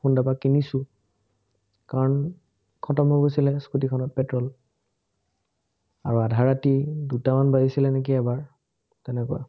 সোনদাৰপা কিনিছো। কাৰণ, খটম হৈ গৈছিলে scooter খনত পেট্ৰোল, আৰু আধা ৰাতি দুটামান বাজিছিলে নেকি এবাৰ, তেনেকুৱা।